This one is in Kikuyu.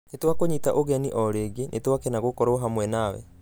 Nĩ twakũnyita ũgeni o rĩngĩ, nitwakena gũkorwo hamwe nawe.